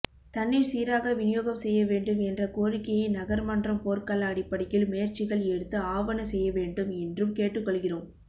தண்ணீர் சீராக விநியோகம் செய்யவேண்டும் என்ற கோரிக்கையை நகர்மன்றம் போர்க்கால அடிப்படையில் முயற்சிகள் எடுத்து ஆவன செய்யவேண்டும் என்றும் கேட்டுக்கொள்கிறோம்